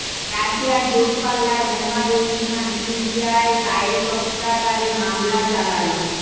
রাশিয়ার দূরপাল্লার বোমারু বিমান সিরিয়ায় দায়েশ অস্ত্রাগারে হামলা চালাল